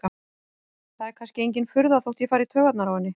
Það er kannski engin furða þótt ég fari í taugarnar á henni.